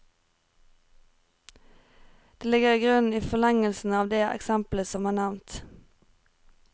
Det ligger igrunnen i forlengelsen av de eksempler som er nevnt.